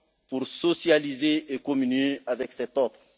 de ponts pour socialiser et communier avec cet